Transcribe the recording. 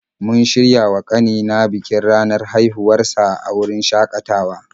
Mun shirya wa ƙanina bikin ranar haihuwar sa a wurin shakatawa.